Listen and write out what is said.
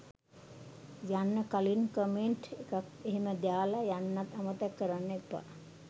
යන්න කලින් කමෙන්ට් එකක් එහෙම දාලා යන්නත් අමතක කරන්න එපා.